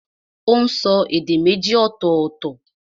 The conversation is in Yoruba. Ó n so èdè méjì ọ̀tọ̀ọ̀tọ̀